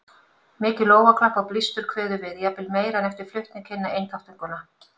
Mikið lófaklapp og blístur kveður við, jafnvel meira en eftir flutning hinna einþáttunganna.